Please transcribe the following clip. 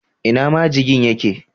Ina majigin ye ke?